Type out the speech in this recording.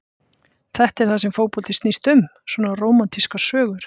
Þetta er það sem fótboltinn snýst um, svona rómantískar sögur.